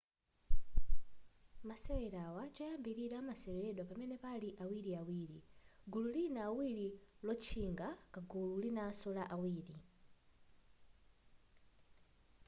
masewerawa choyambilira amaseweredwa pamene pali awiriawiri gulu lina awiri lotchinga kugulu linaso la awiri